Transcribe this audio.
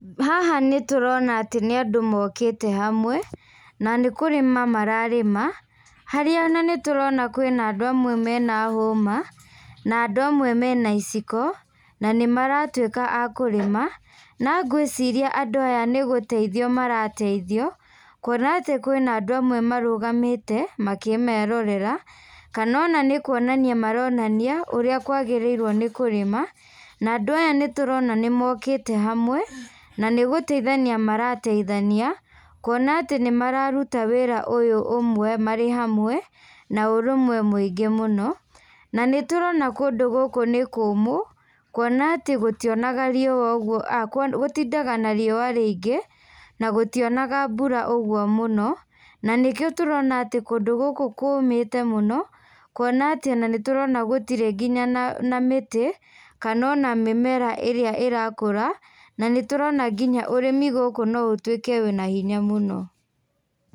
Haha nĩtũrona atĩ nĩandũ mokĩte hamwe, na nĩkũrĩma mararĩma, harĩa ona nĩtũrona kwĩ na andũ amwe mena hũma, na andũ amwe mena iciko, nanĩ maratuĩka a kũrĩma, na ngwĩciria andũ aya nĩgũteithio marateithio, kuona atĩ kwĩna andũ amwe marũgamĩte, makĩmerorera, kana ona nĩkuonania maronania ũrĩa kwagĩrĩirwo nĩ kũrĩma, na andũ aya nĩtũrona nĩmokĩte hamwe, na nĩgũteithania marateithania, kuona atĩ nĩmararuta wĩra ũyũ ũmwe marĩ hamwe, na ũrũmwe mũingĩ mũno, na nitũrona kũndũ gũkũ nĩ kũmũ, kuona atĩ gũtionaga riua ũguo a gũtindaga nariua rĩi ngĩ, na gũtionaga mbura ũguo mũno, na nĩkĩo tũrona atĩ kũndũ gũkũ kũmĩte mũno, kuona atĩ ona nĩtũrona gũtiri nginya na na mĩtĩ, kana ona mĩmera irĩa ĩra kũra, na nĩtũrona nginya ũrĩmi gũkũ no ũtuĩke wĩna hinya mũno.